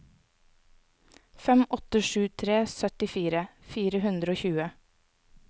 fem åtte sju tre syttifire fire hundre og tjue